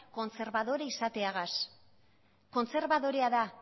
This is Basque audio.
kontserbadore izateagaz kontserbadorea da